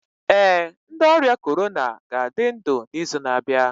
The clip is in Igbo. Ee, ndị ọrịa corona ga-adị ndụ n'izu na-abịa